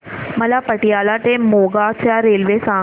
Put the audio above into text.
मला पतियाळा ते मोगा च्या रेल्वे सांगा